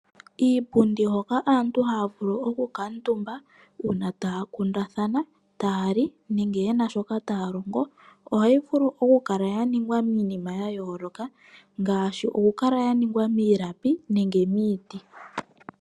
Iipundi hoka aantu haya vulu oku kala omutumba uuna taya kundathana, taya li nenge yena shoka taya longo ohayi vulu okukala yaningwa miinima yayooloka ngaashi okukala yaningwa miilapi nenge miiti.